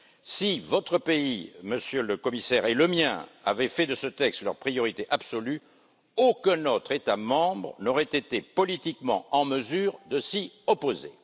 Si votre pays, Monsieur le Commissaire, et le mien avaient fait de ce texte leur priorité absolue, aucun autre État membre n'aurait été politiquement en mesure de s'y opposer.